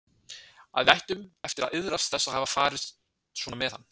Að við ættum eftir að iðrast þess að hafa farið svona með hann.